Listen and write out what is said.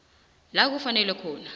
la kufanele khona